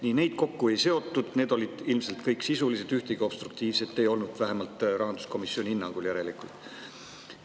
Nii, neid kokku ei seotud, need olid ilmselt kõik sisulised, ühtegi obstruktiivset ei olnud, vähemalt rahanduskomisjoni hinnangul järelikult.